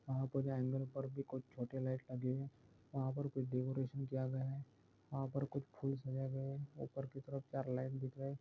वहा पर पर भी कुछ छोटे लाइट लगे हुए है वहा पर कुछ डेकोरेशन किया गया है वहा पर कुछ ऊपर की तरफ चार लाइट दिख रहा है।